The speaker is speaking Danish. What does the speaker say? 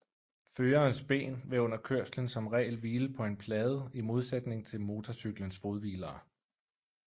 Førerens ben vil under kørslen som regel hvile på en plade i modsætning til motorcyklens fodhvilere